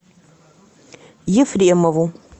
ефремову